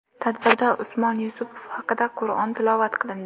Tadbirda Usmon Yusupov haqiga Qur’on tilovat qilindi.